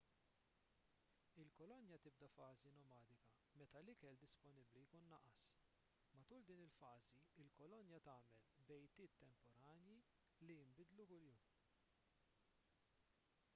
il-kolonja tibda fażi nomadika meta l-ikel disponibbli jkun naqas matul din il-fażi il-kolonja tagħmel bejtiet temporanji li jinbidlu kuljum